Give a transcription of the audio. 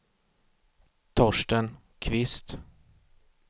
Torsten Kvist